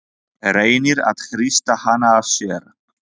Reynir að hrista hana af sér.